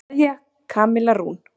Kveðja, Kamilla Rún.